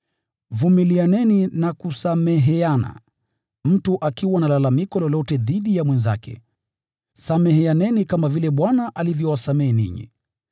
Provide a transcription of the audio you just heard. Vumilianeni na kusameheana mtu akiwa na lalamiko lolote dhidi ya mwenzake. Sameheaneni kama vile Bwana alivyowasamehe ninyi.